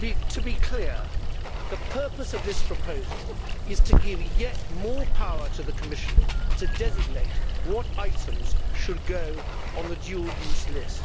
To be clear the purpose of this proposal is to give yet more power to the Commission to designate what items should go on the dual use list.